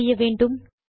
என்ன செய்ய வேண்டும்